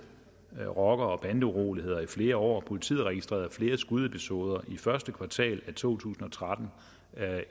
rocker og bandeuroligheder i flere år politiet registrerede flere skudepisoder i første kvartal af to tusind og tretten